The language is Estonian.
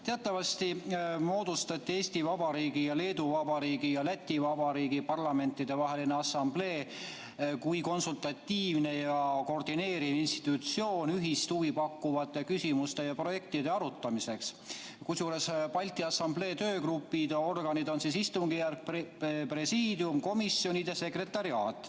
Teatavasti moodustati Eesti Vabariigi, Leedu Vabariigi ja Läti Vabariigi Parlamentidevaheline Assamblee kui konsultatiivne ja koordineeriv institutsioon ühist huvi pakkuvate küsimuste ja projektide arutamiseks, kusjuures Balti Assamblee töögrupid ehk organid on istungjärk, presiidium, komisjonid ja sekretariaat.